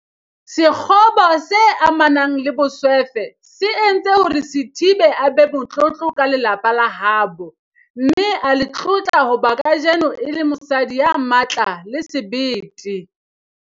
Sekgobo se amanang le boswefe se entse hore Sithibe a be motlotlo ka lelapa la habo, mme a le tlotla hobane kajeno e le mosadi ya matla le sebete.